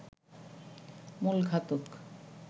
মূল ঘাতক